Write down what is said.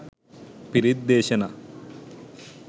පිරිත් දේශනා